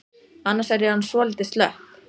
Annars er ég orðin svolítið slöpp.